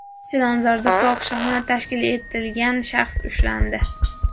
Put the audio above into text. Chilonzorda fohishaxona tashkil etgan shaxs ushlandi.